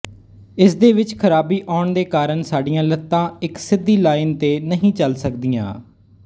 ਇਸਦੇ ਵਿੱਚ ਖਰਾਬੀ ਆਉਣ ਦੇ ਕਾਰਨ ਸਾਡੀਆਂ ਲੱਤਾਂ ਇੱਕ ਸਿੱਧੀ ਲਾਇਨ ਤੇ ਨਹੀਂ ਚੱਲ ਸਕਦੀਆਂ